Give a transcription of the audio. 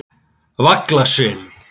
Vaglaseli